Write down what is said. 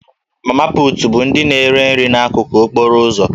Mama put' bụ ndị na-ere nri n'akụkụ okporo ụzọ